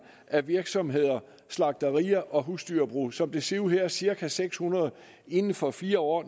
af virksomheder slagterier og husdyrbrug som det ser ud her er det cirka seks hundrede inden for fire år